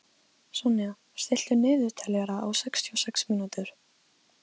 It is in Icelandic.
Sonja, stilltu niðurteljara á sextíu og sex mínútur.